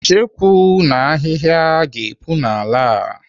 Icheku na ahịhịa ga-epu n'ala a.